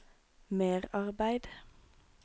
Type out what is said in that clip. merarbeid